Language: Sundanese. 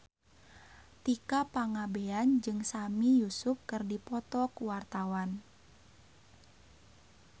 Tika Pangabean jeung Sami Yusuf keur dipoto ku wartawan